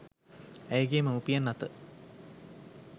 ඇයගේ මව්පියන් අත